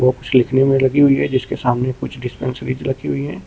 लिखने में लगी हुई है जिसके सामने कुछ रखी हुई है।